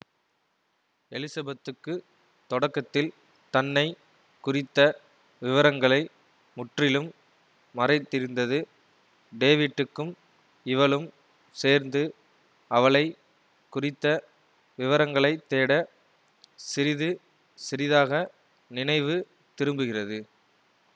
எலிசபத்துக்கு தொடக்கத்தில் தன்னை குறித்த விவரங்களை முற்றிலும் மறைத்திருந்தது டேவிட்டுக்கும் இவளும் சேர்ந்து அவளை குறித்த விவரங்களைத்தேட சிறிது சிறிதாக நினைவு திரும்புகிறது